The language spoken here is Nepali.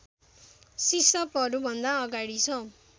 सिसपहरूभन्दा अगाडि छ